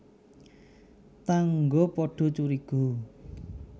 Tangga padha curiga